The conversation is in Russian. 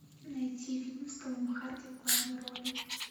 найти фильм с томом харди в главной роли